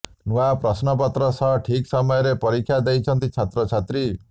ନୂଆ ପ୍ରଶ୍ନପତ୍ର ସହ ଠିକ୍ ସମୟରେ ପରୀକ୍ଷା ଦେଇଛନ୍ତି ଛାତ୍ର ଛାତ୍ରୀ